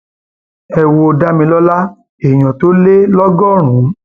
ẹ wo damilọla èèyàn tó lé lọgọrùn